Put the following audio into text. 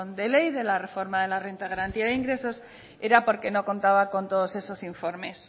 de ley de la reforma de la renta de garantía de ingresos era porque no contaba con todos esos informes